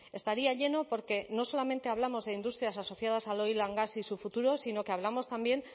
estaría lleno porque no solamente hablamos de industrias asociadas al oil gas y su futuro sino que hablamos también